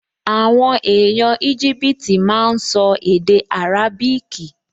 Àwọn èèyàn Íjíbítì máa n sọ èdè árábíkì